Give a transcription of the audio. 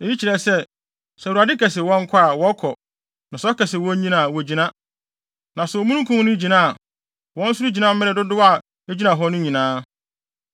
Eyi kyerɛ sɛ, sɛ Awurade ka se wɔnkɔ a, wɔkɔ, na sɛ ɔka se wonnyina a, wogyina. Na sɛ Omununkum no gyina a, wɔn nso gyina mmere dodow a egyina hɔ no nyinaa.